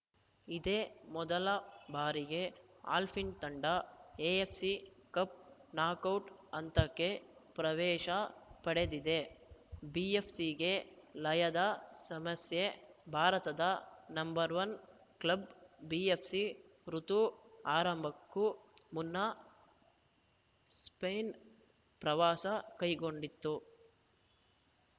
ಇದೇ ಮೊದಲ ಬಾರಿಗೆ ಅಲ್ಫಿನ್ ತಂಡ ಎಎಫ್‌ಸಿ ಕಪ್‌ ನಾಕೌಟ್‌ ಹಂತಕ್ಕೆ ಪ್ರವೇಶ ಪಡೆದಿದೆ ಬಿಎಫ್‌ಸಿಗೆ ಲಯದ ಸಮಸ್ಯೆ ಭಾರತದ ನಂಬರ್ ಒನ್ ಕ್ಲಬ್‌ ಬಿಎಫ್‌ಸಿ ಋುತು ಆರಂಭಕ್ಕೂ ಮುನ್ನ ಸ್ಪೇನ್‌ ಪ್ರವಾಸ ಕೈಗೊಂಡಿತ್ತು